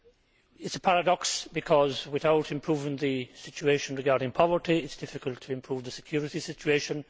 It is a paradox, because without improving the situation regarding poverty it is difficult to improve the security situation